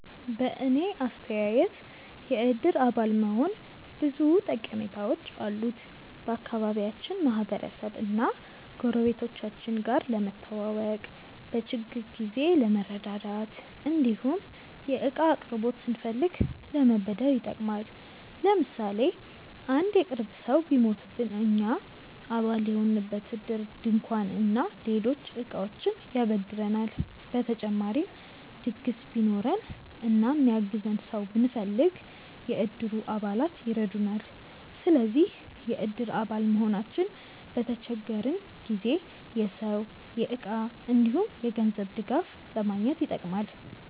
በእኔ አስተያየት የእድር አባል መሆን ብዙ ጠቀሜታዎች አሉት። ከአካባቢያችን ማህበረሰብ እና ጎረቤቶቻችን ጋር ለመተዋወቅ፣ በችግር ጊዜ ለመረዳዳት እንዲሁም የእቃ አቅርቦት ስንፈልግ ለመበደር ይጠቅማል። ለምሳሌ አንድ የቅርብ ሰው ቢሞትብን እኛ አባል የሆንበት እድር ድንኳን እና ሌሎች እቃዎችን ያበድረናል። በተጨማሪም ድግስ ቢኖረን እና የሚያግዘን ሰው ብንፈልግ፣ የእድሩ አባላት ይረዱናል። ስለዚህ የእድር አባል መሆናችን በተቸገረን ጊዜ የሰው፣ የእቃ እንዲሁም የገንዘብ ድጋፍ ለማግኘት ይጠቅማል።